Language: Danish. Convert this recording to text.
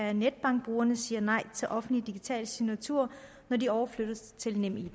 af netbankbrugerne siger nej til offentlig digital signatur når de overflyttes til nemid